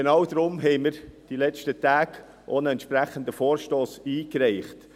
Deshalb haben wir in den letzten Tagen auch einen entsprechenden Vorstoss eingereicht.